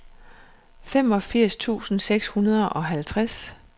femogfirs tusind seks hundrede og halvtreds